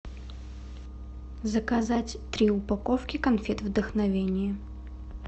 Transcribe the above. заказать три упаковки конфет вдохновение